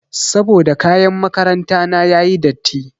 Saboda kayan makaranta na yayi datti.